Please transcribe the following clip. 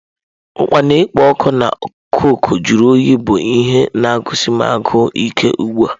Okpa na-ekpo ọkụ na cokụ jụrụ oyi bụ ihe na-agụsi m agụụ ike ugbu a.